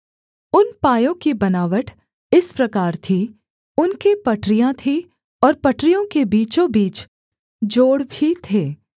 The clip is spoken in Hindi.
उन पायों की बनावट इस प्रकार थी उनके पटरियाँ थीं और पटरियों के बीचों बीच जोड़ भी थे